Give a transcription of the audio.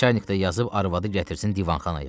Nəçərnikdə yazıb arvadı gətirsin divanxanaya.